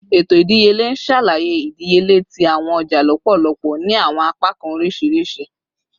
Eto idiyele n ṣalaye idiyele ti awọn ọja lọpọlọpọ ni awọn apakan oriṣiriṣi